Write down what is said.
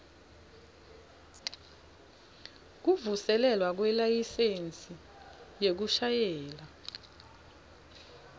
kuvuselelwa kwelayisensi yekushayela